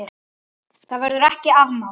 Það verður ekki afmáð.